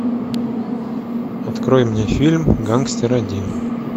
открой мне фильм гангстер один